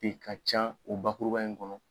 te ka can o bakuraba in kɔnɔ.